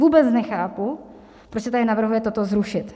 Vůbec nechápu, proč se tady navrhuje toto zrušit.